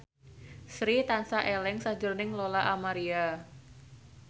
Sri tansah eling sakjroning Lola Amaria